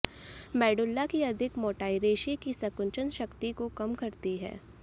medulla की अधिक मोटाई रेशे की संकुचन शक्ति को कम करती है